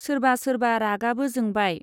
सोरबा सोरबा रागाबो जोंबाय।